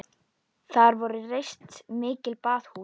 Þar voru reist mikil baðhús.